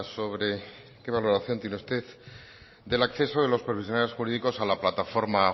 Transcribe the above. sobre qué valoración tiene usted del acceso de los profesionales jurídicos a la plataforma